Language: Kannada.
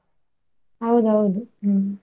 ಹೌದೌದು ಹ್ಮ್.